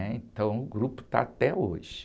né? Então o grupo está até hoje.